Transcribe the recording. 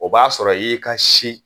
O b'a sɔrɔ i y'i ka si